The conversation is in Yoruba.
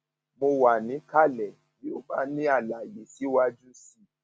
mo wà níkàlẹ bí o bá ní àlàyé síwájú sí i